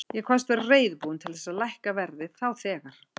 Ég kvaðst vera reiðubúinn til þess að lækka verðið þá þegar.